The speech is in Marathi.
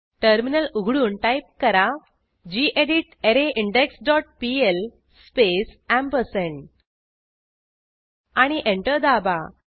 टर्मिनल उघडून टाईप करा गेडीत अरेन्डेक्स डॉट पीएल स्पेस एम्परसँड आणि एंटर दाबा